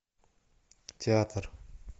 театр